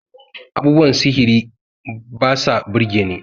abubuwan sihiri ba sa birgeni